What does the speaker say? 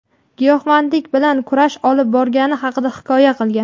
giyohvandlik bilan kurash olib borgani haqida hikoya qilgan.